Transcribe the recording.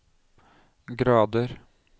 grader